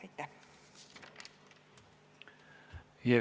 Aitäh!